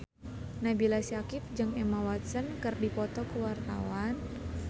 Nabila Syakieb jeung Emma Watson keur dipoto ku wartawan